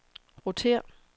rotér